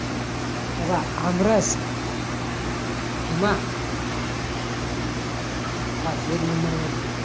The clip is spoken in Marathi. हे पहा आमरस कीव्हा हा एक नंबर मधी